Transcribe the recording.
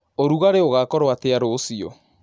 ũrũngarĩ ũgakorwo atĩa rũcĩũ